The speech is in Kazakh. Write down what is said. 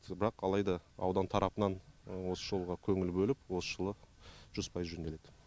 бірақ алайда аудан тарапынан осы жолға көңіл бөліп осы жылы жүз пайыз жөнделеді